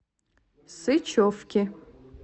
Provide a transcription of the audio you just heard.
сычевки